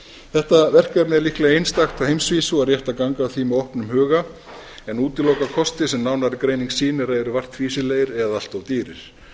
þetta verkefni er líklega einstakt á heimsvísu og rétt að ganga að því með opnum huga en útiloka kosti sem nánari greining sýnir að eru vart fýsilegir eða allt of dýrir